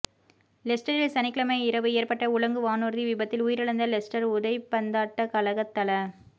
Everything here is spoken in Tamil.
லெஸ்டரில் சனிக்கிழமை இரவு ஏற்பட்ட உலங்கு வானூர்தி விபத்தில் உயிரிழந்த லெஸ்டர் உதைப்பந்தாட்ட கழகத் தல